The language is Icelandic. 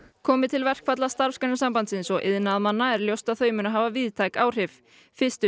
komi til verkfalla Starfsgreinasambandsins og iðnaðarmanna er ljóst að þau munu hafa víðtæk áhrif fyrstu